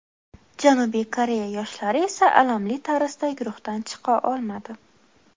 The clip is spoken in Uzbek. Janubiy Koreya yoshlari esa alamli tarzda guruhdan chiqa olmadi.